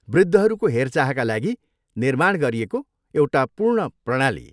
वृद्धहरूको हेरचाहका लागि निर्माण गरिएको एउटा पूर्ण प्रणाली।